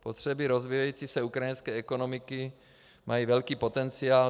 Potřeby rozvíjející se ukrajinské ekonomiky mají velký potenciál.